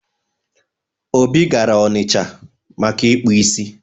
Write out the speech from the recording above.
Obi gara ọnịcha maka ịkpụ isi.